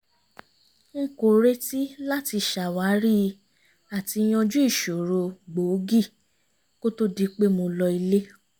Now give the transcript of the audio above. n kò retí láti ṣàwárí àti yanjú ìṣòro gbòógì kó to di pé mo lọ ilé